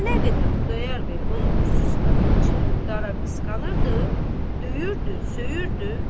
Amma nə qədər Xudayar bəy onu bu xüsusda incidirib dara qısqandırırdı, döyürdü, söyürdü.